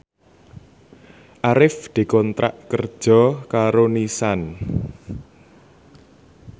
Arif dikontrak kerja karo Nissan